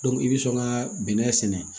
i bɛ sɔn ka bɛnɛ sɛnɛ